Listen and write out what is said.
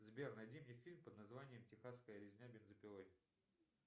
сбер найди мне фильм под названием техасская резня бензопилой